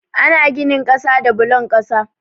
Ana ginin kasa da bulon kasa.